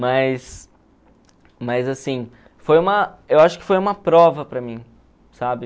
Mas mas, assim, foi uma eu acho que foi uma prova para mim, sabe?